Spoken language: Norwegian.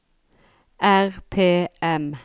RPM